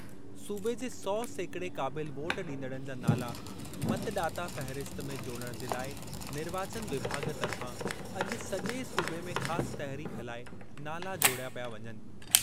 सूबे जे सौ सेकिड़े क़ाबिल वोट ॾींदड़नि जा नाला मतॾाता फ़हिरिस्त में जोड़णु जे लाइ निर्वाचन विभाॻु तर्फ़ां अॼु सॼे सूबे में ख़ासि तहरीक हलाए नाला जोड़िया पिया वञनि।